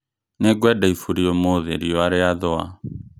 Nĩ ngwenda ibũri ũmũthĩ riũa rĩathũa.